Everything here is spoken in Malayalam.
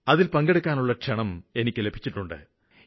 അതില് പങ്കെടുക്കാനുള്ള ക്ഷണം എനിയ്ക്ക് ലഭിച്ചിട്ടുണ്ട്